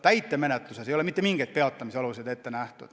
Täitemenetluses ei ole mitte mingeid peatamisaluseid ette nähtud.